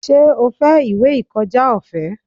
Ṣé o fẹ́ ìwé ìkọjá ọ̀fẹ́?